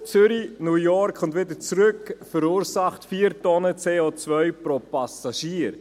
Ein Flug Zürich – New York und wieder zurück verursacht 4 Tonnen CO pro Passagier.